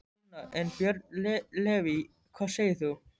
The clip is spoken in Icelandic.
Sunna: En, Björn Leví, hvað segir þú?